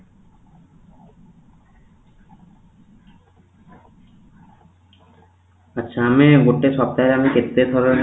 ଆଛା ଆମେ ଗୋଟେ ସପ୍ତାହ ଆମେ କେତେଥର